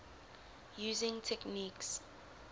using techniques